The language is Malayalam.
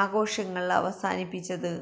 ആഘോഷങ്ങൾ അവസാനിപ്പിച്ചത്